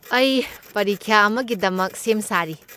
ꯑꯩ ꯄꯔꯤꯈ꯭ꯌꯥ ꯑꯃꯒꯤꯗꯃꯛ ꯁꯦꯝ ꯁꯥꯔꯤ꯫